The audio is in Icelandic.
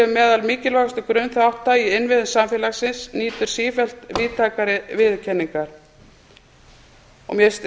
meðal mikilvægustu grunnþátta í innviðum samfélagsins nýtur sífellt víðtækari viðurkenningar mér finnst